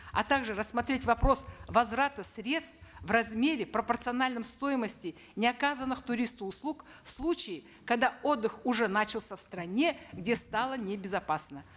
а также рассмотреть вопрос возврата средств в размере пропорциональном стоимости неоказанных туристу услуг в случае когда отдых уже начался в стране где стало небезопасно